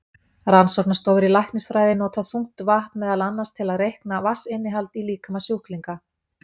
Rannsóknastofur í læknisfræði nota þungt vatn meðal annars til að reikna vatnsinnihald í líkama sjúklinga.